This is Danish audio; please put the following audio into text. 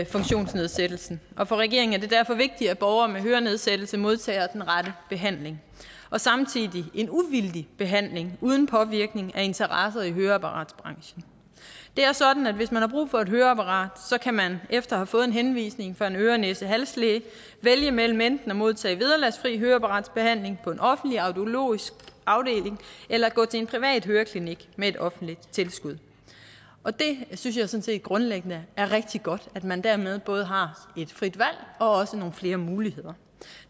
funktionsnedsættelsen og for regeringen er det derfor vigtigt at borgere med hørenedsættelse modtager den rette behandling samtidig en uvildig behandling uden påvirkning fra interesser i høreapparatsbranchen det er sådan at hvis man har brug for et høreapparat kan man efter at have fået en henvisning fra en øre næse hals læge vælge mellem enten at modtage vederlagsfri høreapparatsbehandling på en offentlig audiologisk afdeling eller at gå til en privat høreklinik med et offentligt tilskud det synes jeg sådan set grundlæggende er rigtig godt at man dermed både har et frit valg og nogle flere muligheder